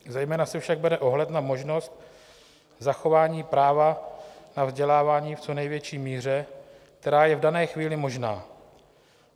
Zejména se však bere ohled na možnost zachování práva na vzdělávání v co největší míře, která je v dané chvíli možná.